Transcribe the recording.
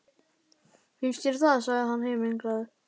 Finnst þér það? sagði hann himinglaður.